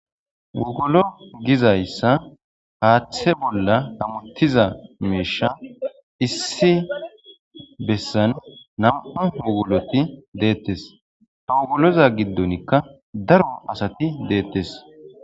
Wogolo gizayisa haththe bola hametiza mishsha issi besan nam'u wugolati detes ha wogoloza gidonika daro asati detes.